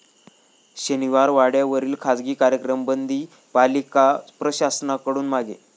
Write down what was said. शनिवारवाड्यावरील खासगी कार्यक्रम बंदी पालिका प्रशासनाकडून मागे